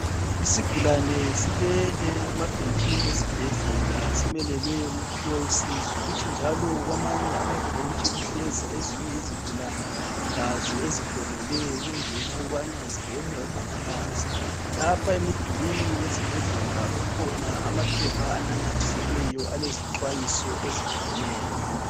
Isigulane silele emabhentshini esibhedlela simelele ukuphiwa usizo. Kuthi njalo kwamanye amabhentshi kuhlezi ezinye izigulane lazo ezifolele ukungena ukuba zibone umongikazi. Lapha emdulini esibhedlela kukhona amaphepha anamathiselweyo alezixhwayiso ezitshiyeneyo.